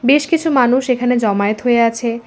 বেশ কিছু মানুষ এখানে জমায়েত হয়ে আছে।